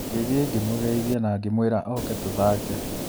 Ngĩthiĩ ngĩmũgeithia na ngĩmwĩra oke tũthake.